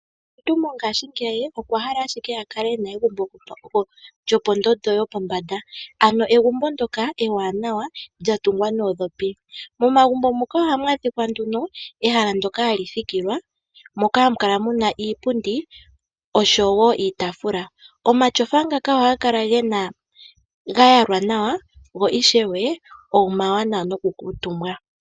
Kehe omuntu mongaashingeyi okwahala ashike akale ena egumbo lyopondondondo yopombanda ano egumbo ndjoka ewanawa lyatungwa noondhopi. Momagumbo muka ohamu adhika nduno ehala moka hamu thikilwa moka hamu kala muna iipundi oshowo iitaafula . Omatyofa ngaka ohaga kala ga yalwa nawa go ishewe omawanawa noku kuutumba